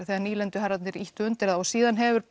þegar nýlenduherrarnir ýttu undir þá og síðan hefur